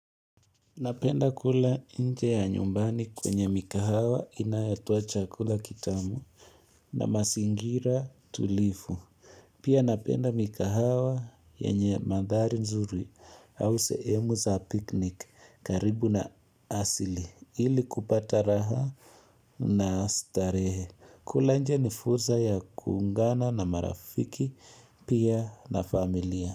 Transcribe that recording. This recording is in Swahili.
Napenda kula nje ya nyumbani kwenye mikahawa inayatoa chakula kitamu na mazingira tulivu. Pia napenda mikahawa yenye mandhari mzuri au sehemu za piknik karibu na asili ili kupata raha na starehe. Kula nje ni fursa ya kuungana na marafiki pia na familia.